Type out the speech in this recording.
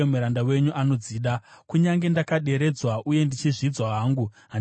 Kunyange ndakaderedzwa uye ndichizvidzwa hangu, handikanganwi zvirevo zvenyu.